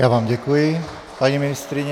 Já vám děkuji, paní ministryně.